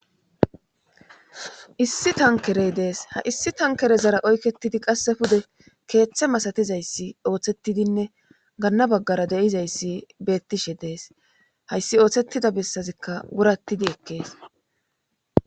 Issi tankerey dees ha issi tankere zara oykketidi qasse pude keeththe masatizayssi ooththettidinne ganna baggara deizayssi beettishe dees hayssi ooththettida bessazikka wurattidi ekkees.